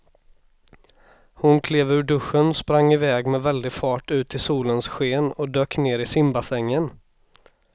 Hon klev ur duschen, sprang med väldig fart ut i solens sken och dök ner i simbassängen.